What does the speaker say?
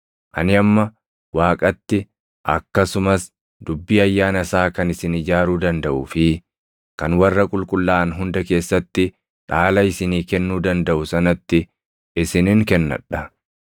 “Ani amma Waaqatti, akkasumas dubbii ayyaana isaa kan isin ijaaruu dandaʼuu fi kan warra qulqullaaʼan hunda keessatti dhaala isinii kennuu dandaʼu sanatti isinin kennadha.